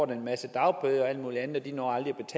en masse dagbøder og alt muligt andet de når aldrig